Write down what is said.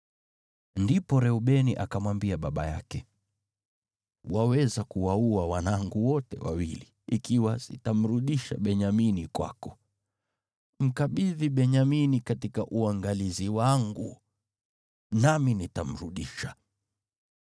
Ndipo Reubeni akamwambia baba yake, “Waweza kuwaua wanangu wote wawili, ikiwa sitamrudisha Benyamini kwako. Mkabidhi Benyamini katika uangalizi wangu, nami nitamrudisha.”